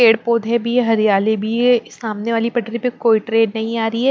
पेड़-पौधे भी है हरियाली भी है सामने वाली पटरी पर कोई नहीं आ रही है।